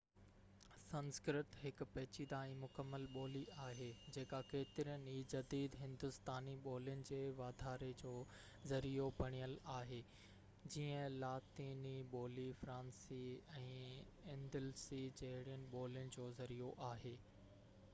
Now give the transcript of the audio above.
سنسڪرت هڪ پيچيده ۽ مڪمل ٻولي آهي جيڪا ڪيترين ئي جديد هندوستاني ٻولين جي واڌاري جو ذريعو بڻيل آهي جيئن لاطيني ٻولي فرانسي ۽ اندلسي جهڙين ٻولين جو ذريعو آهي